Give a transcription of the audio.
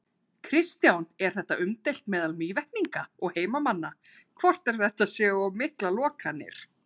Kristján: Er þetta umdeilt meðal Mývetninga og heimamanna, hvort að þetta séu of miklar lokanir?